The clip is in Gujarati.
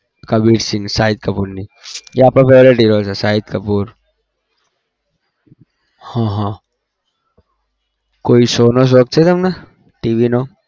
કબીર સિંહ શાહીદ કપૂરની એ આપણો favourite hero છે શાહિદ કપૂર હા હા કોઈ show નો શોખ છે તમને TV નો?